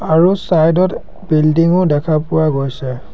আৰু ছাইড ত বিল্ডিং ও দেখা পোৱা গৈছে।